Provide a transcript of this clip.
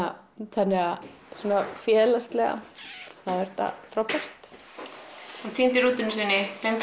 þannig að félagslega þá er þetta frábært hún týndi rútunni sinni gleymdi